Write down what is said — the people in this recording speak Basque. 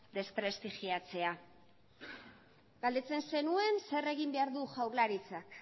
desprestigiatzea galdetzen zenuen zer egin behar duen jaurlaritzak